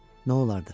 Nə olardı?